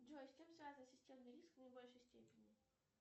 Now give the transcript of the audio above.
джой с чем связан системный риск в наибольшей степени